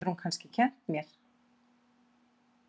Þá getur hún kannski kennt mér.